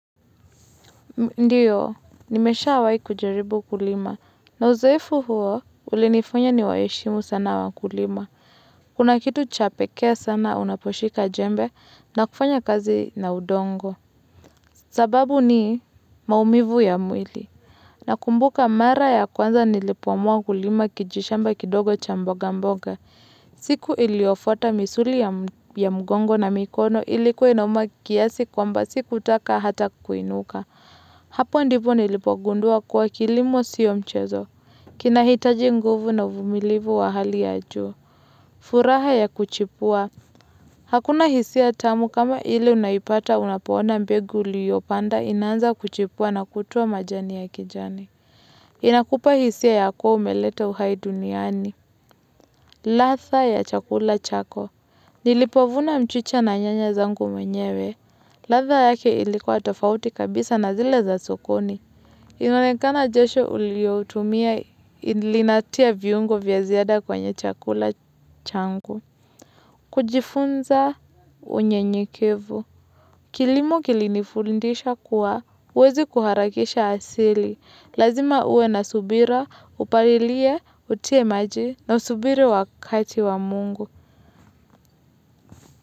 Ndio, nimeshawahi kujaribu kulima. Na uzoefu huo, ulinifanya niwaheshimu sana wakulima. Kuna kitu cha pekee sana unaposhika jembe, na kufanya kazi na udongo. Sababu ni maumivu ya mwili. Nakumbuka mara ya kwanza nilipoamua kulima kijishamba kidogo cha mboga mboga. Siku iliyofuata, misuli ya mgongo na mikono ilikuwa inauma kiasi kwamba sikutaka hata kuinuka. Hapo ndipo nilipogundua kuwa, kilimo sio mchezo kinahitaji nguvu na uvumilivu wa hali ya juu. Furaha ya kuchipua Hakuna hisia tamu kama ile unaipata unapo ona mbegu uliyopanda inaanza kuchipua na kutoa majani ya kijani Inakupa hisia ya kuwa umeleta uhai duniani ladha ya chakula chako Nilipovuna mchicha na nyanya zangu mwenyewe ladha yake ilikuwa tofauti kabisa na zile za sokoni inaonekana jasho uliyoitumia linatia viungo vya ziada kwenye chakula changu. Kujifunza unyenyekevu. Kilimo kilinifundisha kuwa huwezi ku harakisha asili. Lazima uwe na subira, upalilie, utie maji, na usubiri wakati wa mungu.